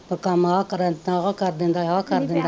ਕਮ ਆ ਕਰਤਾ ਆ ਕਰ ਦਿੰਦਾ ਆ ਕਰ ਦਿੰਦਾ,